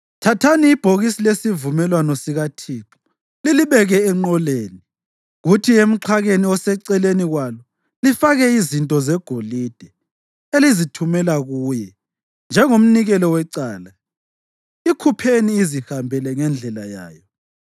Thathani ibhokisi lesivumelwano sikaThixo lilibeke enqoleni, kuthi emxhakeni oseceleni kwalo lifake izinto zegolide elizithumela kuye njengomnikelo wecala. Ikhupheni izihambele ngendlela yayo,